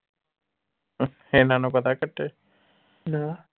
ਇਹਨਾਂ ਨੂੰ ਪਤਾ ਕੱਟੇ